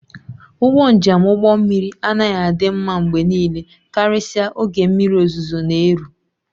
Ụgbọ njem ụgbọ mmiri anaghị adị mma mgbe niile karịsịa oge mmiri ozuzo na-eru